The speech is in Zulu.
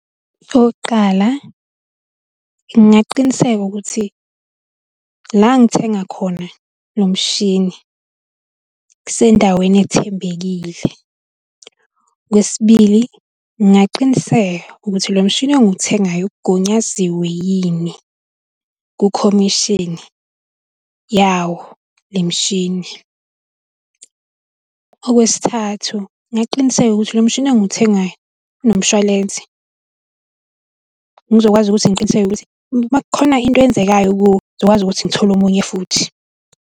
Okokuqala, ngingaqiniseka ukuthi la ngithenga khona lo mshini kusendaweni ethembekile. Okwesibili, ngingaqiniseka ukuthi lo mshini engiwuthengayo ugunyaziwe kukhomishini yawo le mishini. Okwesithathu, ngingaqiniseka ukuthi lo mshini engiwuthengayo unomshwalense, ngizokwazi ukuthi ngiqiniseke ukuthi uma kukhona into eyenzekayo kuwo, ngizokwazi ukuthi ngithole omunye futhi.